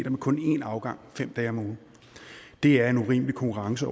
kun én afgang fem dage om ugen det er en urimelig konkurrence